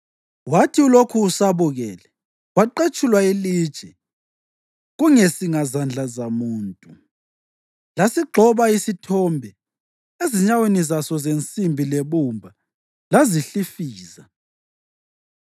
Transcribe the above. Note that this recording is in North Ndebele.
Wathi ulokhu usabukele, kwaqetshulwa ilitshe, kungesingazandla zamuntu. Lasigxoba isithombe ezinyaweni zaso zensimbi lebumba lazihlifiza.